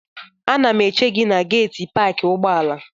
Ana m eche gị na geetị paakị ụgbọala.